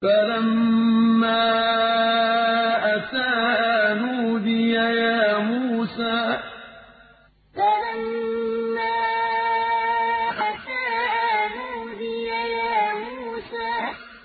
فَلَمَّا أَتَاهَا نُودِيَ يَا مُوسَىٰ فَلَمَّا أَتَاهَا نُودِيَ يَا مُوسَىٰ